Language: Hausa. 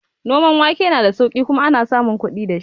Noman wake na da sauƙi kuma ana samun kuɗi dashi